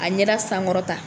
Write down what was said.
A ɲɛda sankɔrɔta.